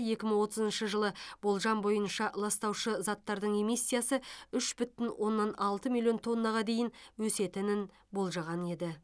екі мың отызыншы жылы болжам бойынша ластаушы заттардың эмиссиясы үш бүтін оннан алты миллион тоннаға дейін өсетінін болжаған еді